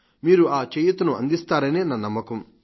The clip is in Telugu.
మీరు ఆ చేయూతను అందిస్తారనే నా నమ్మకం